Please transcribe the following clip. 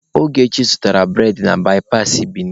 Ogechi zụtaara bụredị na baipasị Bini.